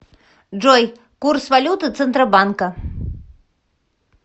джой курс валюты центробанка